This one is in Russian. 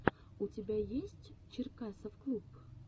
у тебя есть черкасовклуб